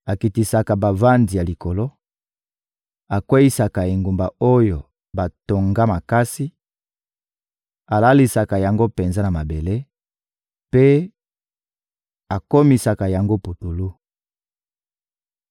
Akitisaka bavandi ya likolo, akweyisaka engumba oyo batonga makasi, alalisaka yango penza na mabele mpe akomisaka yango putulu.